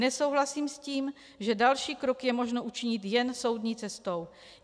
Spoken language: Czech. Nesouhlasím s tím, že další krok je možno učinit jen soudní cestou.